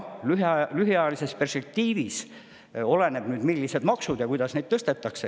Lühiajalises perspektiivis oleneb nüüd palju sellest, millised on maksud ja kuidas neid tõstetakse.